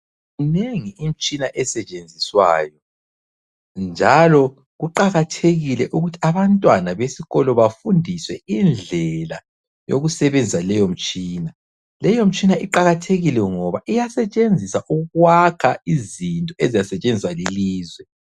Minengi imtshina esetshinziswayo njalo kuqakathekile ukuthi abantwana besikolo bafundiswe indlela yokusebenzisa leyo mtshina. Leyo mtshina iqakathekile ngoba iyasetshenziswa ukwakha izinto ezizasetshenziswa lilizwe.